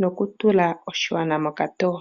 noku tula oshigwana mokatoyo.